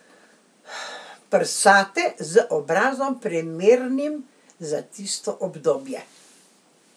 Prsate, z obrazom, primernim za tisto obdobje.